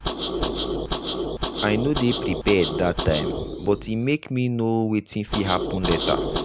i no dey prepared that time but e make me know wetin fit happen later.